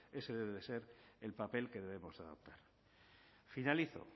ese debe ser el papel que debemos de adoptar finalizo